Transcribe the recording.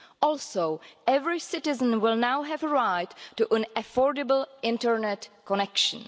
Also, every citizen will now have a right to an affordable internet connection.